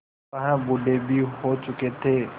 वह बूढ़े भी हो चुके थे